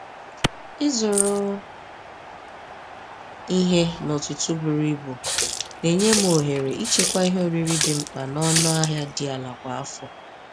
Ịzụrụ ihe n’ụtụtụ buru ibu na-enye m ohere ịchekwa ihe oriri dị mkpa n’ọnụ ahịa dị ala kwa afọ.